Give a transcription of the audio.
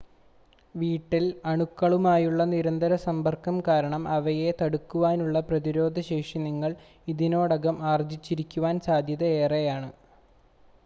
വീട്ടിൽ അണുക്കളുമായുള്ള നിരന്തര സമ്പർക്കം കാരണം അവയെ തടുക്കുവാനുള്ള പ്രതിരോധ ശേഷി നിങ്ങൾ ഇതിനോടകം ആർജ്ജിച്ചിരിക്കുവാൻ സാധ്യത ഏറെയാണ്